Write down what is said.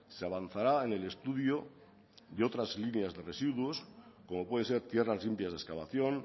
se avanzará en el estudio de otras líneas de residuos como puede ser tierras limpias de excavación